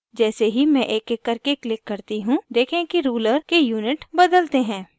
जैसे ही मैं एकएक करके click करती हूँ देखें कि ruler के unit बदलते हैं